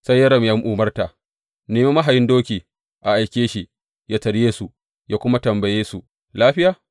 Sai Yoram ya umarta, Nemi mahayin doki a aike shi yă tarye su, yă kuma tambaye su, Lafiya?’